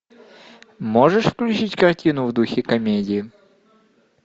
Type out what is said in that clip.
можешь включить картину в духе комедии